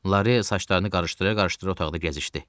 Lare saçlarını qarışdıra-qarışdıra otaqda gəzişdi.